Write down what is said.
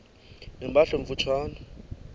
ne mpahla emfutshane